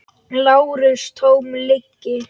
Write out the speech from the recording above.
LÁRUS: Tóm lygi!